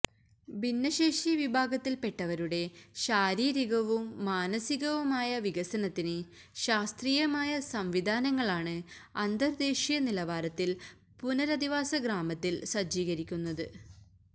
ഭിന്നശേഷി വിഭാഗത്തില് പെട്ടവരുടെ ശാരീരികവും മാനസികവുമായ വികസനത്തിന് ശാസ്ത്രീയമായ സംവിധാനങ്ങളാണ് അന്തര് ദേശീയ നിലവാരത്തില് പുനരധിവാസ ഗ്രാമത്തില് സജ്ജീകരിക്കുന്നത്